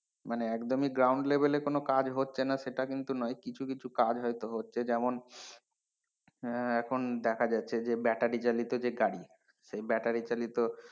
মানে একদমই ground level এ কোনো কাজ হচ্ছে না সেটা কিন্তু নয়, কিছু কিছু কাজ হয়তো হচ্ছে যেমন আহ এখন দেখা যাচ্ছে যে battery চালিত যে গাড়ি সে battery চালিত,